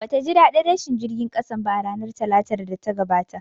Bata ji ɗaɗin rashin jirgin ƙasan ba a ranar Talatar da ta gabata